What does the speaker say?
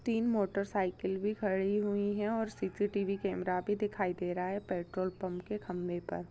तीन मोटरसाइकिल भी खड़ी हुई है और सी_सी_टी_वी कैमरा भी दिखाई दे रहा है पेट्रोल पंप के खंभे--